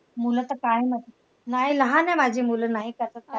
मुलं तर काय नाही लहान आहे माझी मुलं नाही कशात काय.